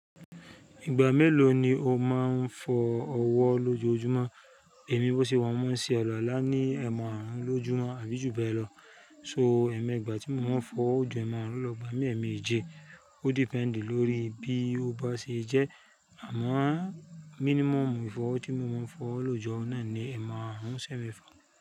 Ìgbà mélòó ni o máa ń fọ ọwọ́ lójoójúmọ́? Èmi bó ṣe wà máa ń ṣe àlùwàlá ní ẹ̀ẹ̀mu àárùn lójúmọ́ àbí ju bẹ́ẹ̀ lọ. So ẹ̀ẹ̀mẹ́ ìgbà tí mo máa ń fọ óju ẹ maàrún lọ ìgbà mi ẹ̀ẹ̀mí èje. Ó depend lórí bí ó bá ṣe jẹ́ àmọ́ mínímọ́mù ìfọwọ́ tí mo máa ń fọwọ́ lóòjö náà ni ẹ̀ẹ̀mú àárùn sẹ́ ẹ̀mefà.